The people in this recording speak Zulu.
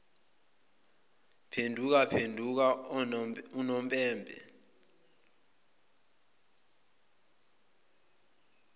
phenduka phenduka unompempe